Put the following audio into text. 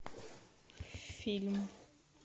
фильм